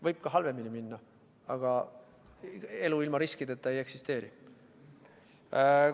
Võib ka halvemini minna, aga elu ilma riskideta ei eksisteeri.